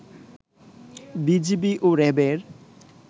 BGB ও র‍্যাবের